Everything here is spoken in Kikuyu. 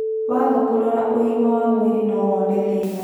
Waaga kũrora ũgima wa mwĩrĩ nowone thĩna